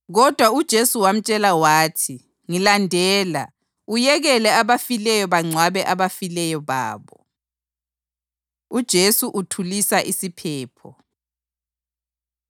Kodwa uJesu wamtshela wathi, “Ngilandela, uyekele abafileyo bangcwabe abafileyo babo.” UJesu Uthulisa Isiphepho